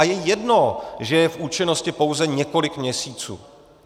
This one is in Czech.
A je jedno, že je v účinnosti pouze několik měsíců.